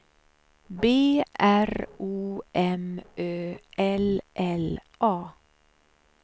B R O M Ö L L A